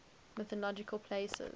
mythological places